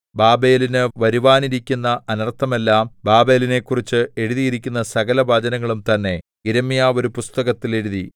ബാബേലിനു വരുവാനിരിക്കുന്ന അനർത്ഥമെല്ലാം ബാബേലിനെക്കുറിച്ച് എഴുതിയിരിക്കുന്ന സകലവചനങ്ങളും തന്നെ യിരെമ്യാവ് ഒരു പുസ്തകത്തിൽ എഴുതി